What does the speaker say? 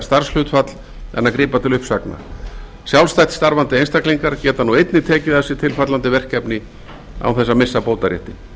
starfshlutfall en að grípa til uppsagna sjálfstætt starfandi einstaklingar geta nú einnig tekið að sér tilfallandi verkefni án þess að missa bótaréttinn